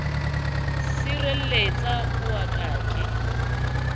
sirelletsa o wa ka ke